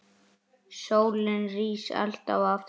Sólin rís alltaf aftur.